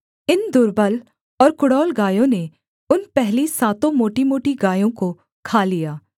इन दुर्बल और कुडौल गायों ने उन पहली सातों मोटीमोटी गायों को खा लिया